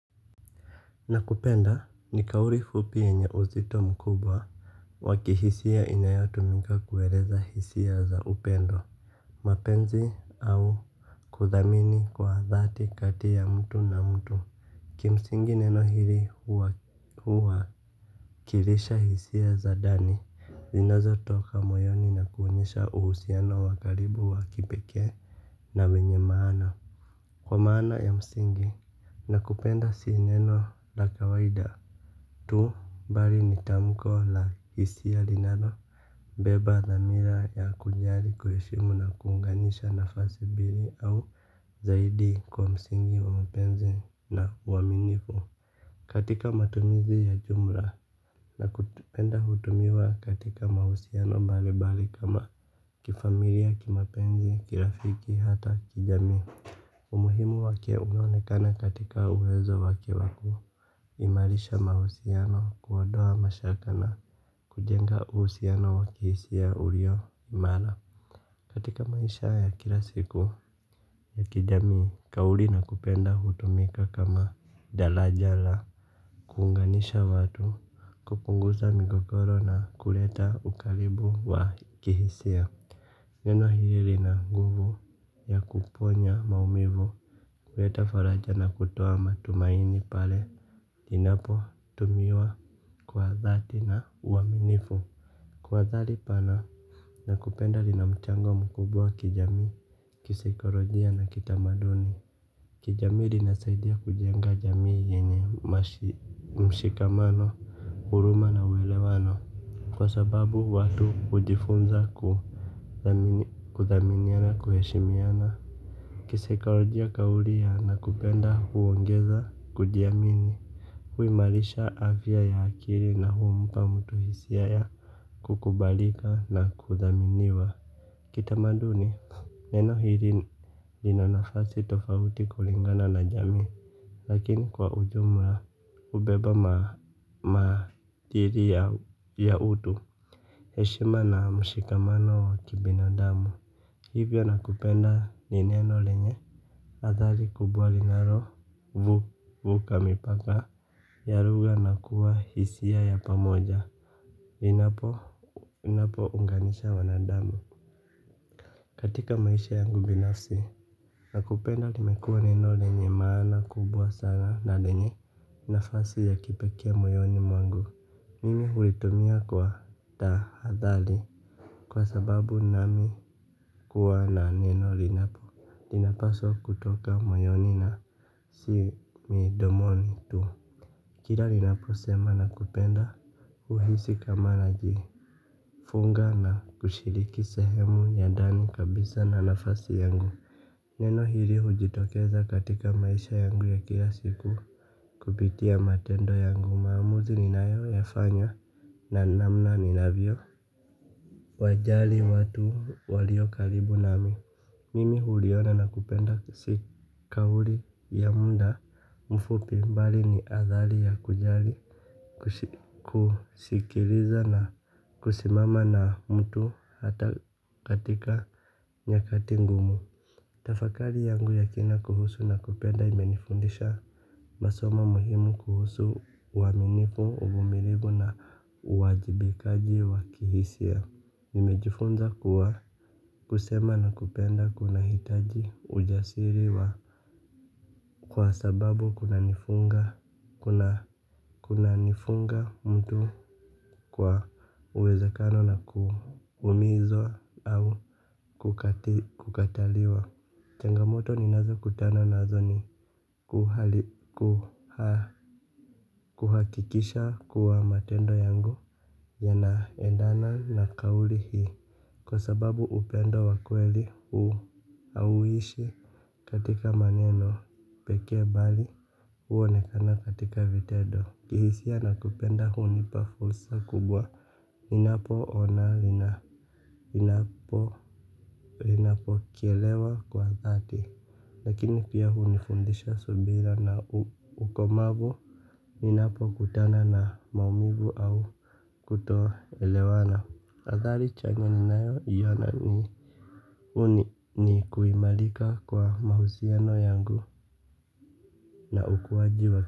Nakupenda, ni kauli fupi yenye uzito mkubwa wa kihisia inayotumika kueleza hisia za upendo. Mapenzi au kuthamini kwa dhati kati ya mtu na mtu. Kimsingi neno hiri huwakilisha hisia za dani, zinazotoka moyoni na kuonyesha uhusiano wa karibu wa kipekee. Na wenye maana. Kwa maana ya msingi, nakupenda si neno la kawaida. Tu bari ni tamko la hisia linalo beba dhamira ya kujali, kuheshimu na kuunganisha nafasi bili au zaidi kwa msingi wa mapenzi na uaminifu. Katika matumizi ya jumla nakupenda hutumiwa katika mahusiano bali bali kama kifamilia, kimapenzi, kirafiki hata kijamii. Umuhimu wake unaonekana katika uwezo wake wa kuimarisha mahusiano kuondoa mashaka na kujenga uhusiano wa kihisia ulio imara katika maisha ya kila siku ya kijamii. Kauli nakupenda hutumika kama dalaja la kuunganisha watu, kupunguza migogoro na kuleta ukaribu wa kihisia. Neno hili lina nguvu ya kuponya maumivu. Kuleta faraja na kutoa matumaini pale inapotumiwa kwa dhati na uaminifu. Kwa dhali pana, nakupenda lina mchango mkubwa kijamii, kisaikorojia na kitamaduni. Kijamii rinasaidia kujenga jamii yenye mshikamano, huruma na uelewano kwa sababu watu hujifunza kuthaminiana, kuheshimiana. Kisaikorojia kaulia ya nakupenda huongeza kujiamini, huimarisha afya ya akiri na humpa mtu hisia ya kukubalika na kuthaminiwa. Kitamaduni, neno hiri lina nafasi tofauti kulingana na jamii. Lakini kwa ujumla, hubeba matiri ya utu. Heshima na mshikamano wa kibinadamu. Hivyo nakupenda ni neno lenye adhari kubwa linarovuka mipaka. Ya ruga na kuwa hisia ya pamoja linapounganisha wanadamu. Katika maisha yangu binafsi, nakupenda limekuwa neno lenye maana kubwa sana na lenye nafasi ya kipekee moyoni mwangu. Mimi hulitumia kwa tahadhali, kwa sababu nami kuwa na neno linapo, linapaswa kutoka moyoni na si midomoni tu. Kila ninaposema nakupenda, huhisi kama najifunga na kushiriki sehemu ya ndani kabisa na nafasi yangu. Neno hili hujitokeza katika maisha yangu ya kila siku. Kupitia matendo yangu, maamuzi ninayoyafanya na namna ninavyowajali watu walio karibu nami. Mimi huliona na kupenda si kauli ya muda mfupi bali ni adhali ya kujali. Kusikiliza na kusimama na mtu hata katika nyakati ngumu. Tafakari yangu ya kina kuhusu nakupenda imenifundisha masoma muhimu kuhusu uaminifu, uvumilivu na uwajibikaji wa kihisia. Nimejifunza kuwa kusema nakupenda kunahitaji ujasiri wa. Kwa sababu kunanifunga mtu kwa uwezekano na kuumizwa. Au kukataliwa. Changamoto ninazokutana nazo ni kuhakikisha kuwa matendo yangu yanaendana na kauli hii, kwa sababu upendo wa kweli hu hauishi katika maneno pekee bali huonekana katika vitendo. Kihisia nakupenda hunipa fursa kubwa. Ninapo ona lina, linapokelewa kwa dhati. Lakini pia hunifundisha subira na ukomavu. Ninapo kutana na maumivu au kutoelewana. Adhali chanya ninayoiona ni kuimarika kwa mahusiano yangu na ukuwaji wa.